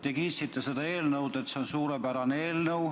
Te kiitsite seda eelnõu, et see on suurepärane eelnõu.